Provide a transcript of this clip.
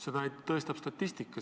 Seda tõestab statistika.